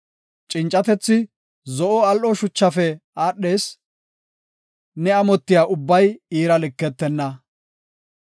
Cincatethi zo7o al7o shuchafe aadhees; ne amotiya ubbay iira liketenna.